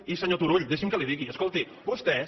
i senyor turull deixi’m que li digui escolti vostès